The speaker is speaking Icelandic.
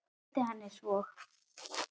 Gleymdi henni svo.